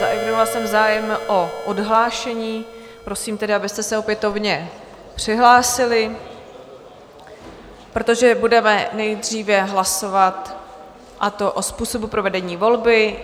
Zaevidovala jsem zájem o odhlášení, prosím tedy, abyste se opětovně přihlásili, protože budeme nejdříve hlasovat, a to o způsobu provedení volby.